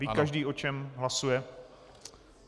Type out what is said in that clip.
Ví každý, o čem hlasuje?